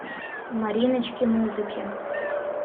мариночки музыки